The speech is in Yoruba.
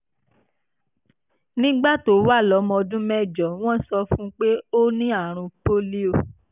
nígbà tó wà lọ́mọ ọdún mẹ́jọ wọ́n sọ fún un pé ó ní àrùn pólíò